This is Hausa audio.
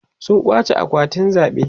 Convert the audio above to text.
sun kwace akwatin zaɓe